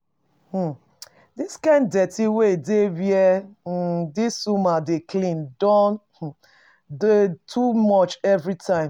um The kind dirty wey dey where um this woman dey clean don um dey too much everytime